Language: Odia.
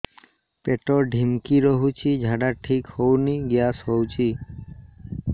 ପେଟ ଢିମିକି ରହୁଛି ଝାଡା ଠିକ୍ ହଉନି ଗ୍ୟାସ ହଉଚି